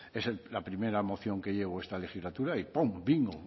es la primera moción que llevo esta legislatura y pum bingo